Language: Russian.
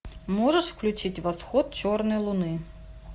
можешь включить восход черной луны